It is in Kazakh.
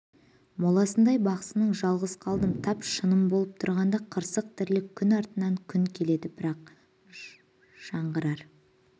моласындай бақсының жалғыз қалдым тап шыным болып тұрғандай қырсық тірлік күн артынан күн келеді бірақ жаңғырығар